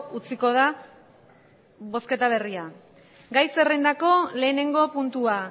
utziko da bozketa berria gai zerrendako lehenengo puntua